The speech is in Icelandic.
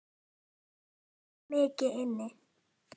Hann ætti þó mikið inni.